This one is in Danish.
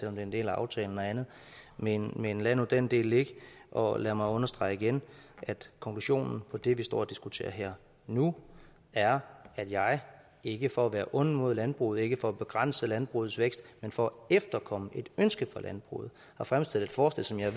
er en del af aftalen og andet men men lad nu den del ligge og lad mig understrege igen at konklusionen på det vi står og diskuterer her nu er at jeg ikke for at være ond mod landbruget ikke for at begrænse landbrugets vækst men for at efterkomme et ønske fra landbruget har fremsat et forslag som jeg